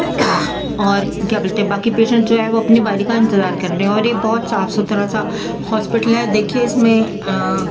एक क्लीनिक दिखाई दे रहा है वहाँ पर एक डॉक्टर बैठा है उसके पास बहुत सारे आदमी खड़े हैं औरत भी खड़े हैं